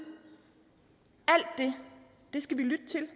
alt det skal vi lytte til